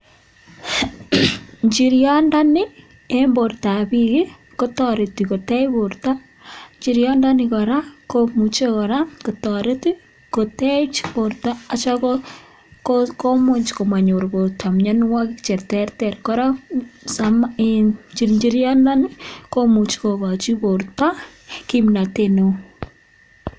Njiryondoni en bortab biik kotoreti kotech borto. Njiryondoni kora, komuche kora kotoret kotech borto asi komuch komonyor borto mianwogik che terter. Kora, njiryondoni komuch kogochi borto kimnatet neo.